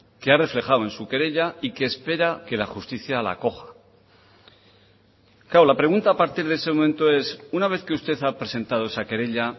que ha reflejado en su querella y que espera que la justicia la coja claro la pregunta a partir de ese momento es una vez que usted ha presentado esa querella